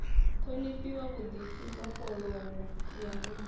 ṱhonifhiwa vhuḓipfi mbofholowo ya muhumbulo